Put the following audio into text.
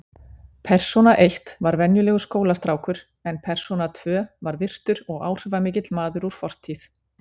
Persóna eitt var venjulegur skólastrákur en persóna tvö var virtur og áhrifamikill maður úr fortíð.